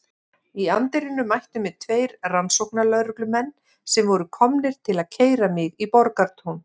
Í anddyrinu mættu mér tveir rannsóknarlögreglumenn sem voru komnir til að keyra mig í Borgartún.